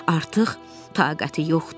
Artıq taqəti yoxdur.